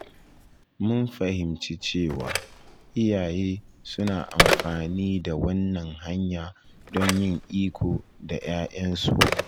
Mun fahimci cewa iyaye suna amfani da wannan hanya don yin iko da ‘ya’yan su